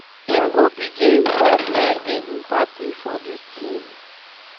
im go begin by blending mbappe for dis team.